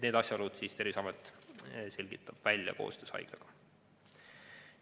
Need asjaolud selgitab välja Terviseamet koostöös haiglaga.